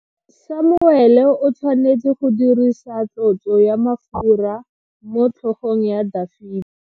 Samuele o tshwanetse go dirisa tlotso ya mafura motlhogong ya Dafita.